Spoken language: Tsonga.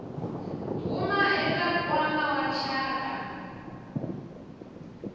huma eka nkwama wa rixaka